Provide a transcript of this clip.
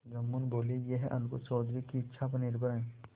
जुम्मन बोलेयह अलगू चौधरी की इच्छा पर निर्भर है